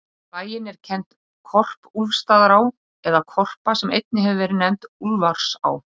Við bæinn er kennd Korpúlfsstaðaá, eða Korpa, sem einnig hefur verið nefnd Úlfarsá.